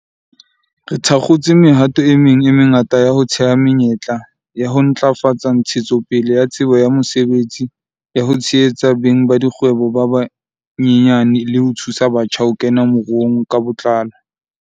Re thakgotse mehato e meng e mengata ya ho theha menyetla, ya ho ntlafatsa ntshetsopele ya tsebo ya mosebetsi, ya ho tshehetsa beng ba dikgwebo ba banyenyane le ho thusa batjha ho kena moruong ka botlalo.